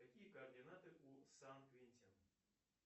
какие координаты у сан квентин